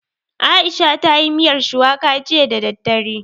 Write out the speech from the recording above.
Aisha ta yi miyar shuwaka jiya da daddare